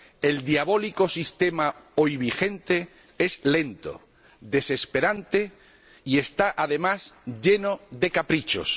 El diabólico sistema hoy vigente es lento, desesperante y está, además, lleno de caprichos.